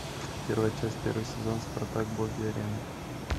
первая часть первый сезон спартак боги арены